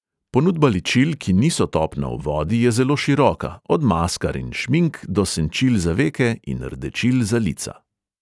Ponudba ličil, ki niso topna v vodi, je zelo široka, od maskar in šmink do senčil za veke in rdečil za lica.